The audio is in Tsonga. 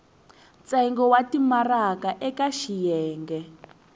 ntsengo wa timaraka eka xiyenge